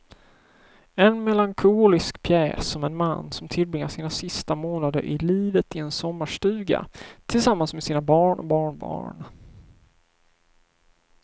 En melankolisk pjäs om en man som tillbringar sina sista månader i livet i en sommarstuga tillsammans med sina barn och barnbarn.